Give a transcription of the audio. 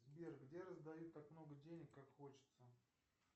сбер где раздают так много денег как хочется